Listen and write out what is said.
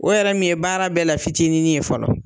O yɛrɛ min ye baara bɛɛ la fitinin ye fɔlɔ